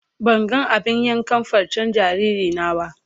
Ban gan abin yankan farcen jariri na ba.